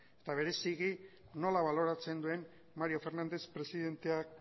eta bereziki nola baloratzen duen mario fernández presidenteak